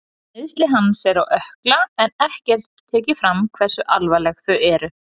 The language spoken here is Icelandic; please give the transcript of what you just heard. Meiðsli hans eru á ökkla en ekki er tekið fram hversu alvarleg þau eru.